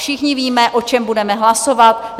Všichni víme, o čem budeme hlasovat.